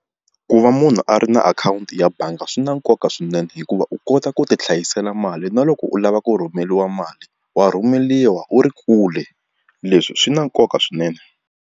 Ku va munhu a ri na akhawunti ya bangi swi na nkoka swinene hikuva u kota ku ti hlayisela mali na loko u lava ku rhumeriwa mali wa rhumeriwa wu ri kule leswi swi na nkoka swinene.